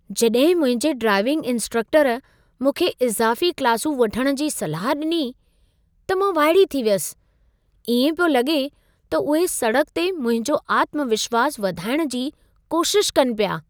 जड॒हिं मुंहिंजे ड्राइविंग इंस्ट्रक्टरु मूंखे इज़ाफ़ी क्लासूं वठणु जी सलाह डि॒नी, त मां वाइड़ी थी वयसि। ईएं पियो लगे॒ त उहे सड़क ते मुंहिंजो आत्मविश्वासु वधाइण जी कोशिशि कनि पिया।